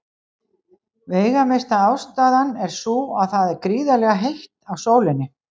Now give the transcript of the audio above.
Veigamesta ástæðan er sú að það er gríðarlega heitt á sólinni.